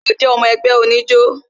Ṣé o jé ọmọ ẹgbẹ́ oníjó?